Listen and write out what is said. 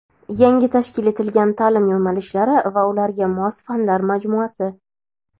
Yangi tashkil etilgan ta’lim yo‘nalishlari va ularga mos fanlar majmuasi.